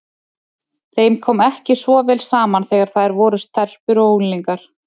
Þeim kom ekki svo vel saman þegar þær voru stelpur og unglingar.